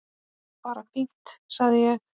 Bara fínt sagði ég.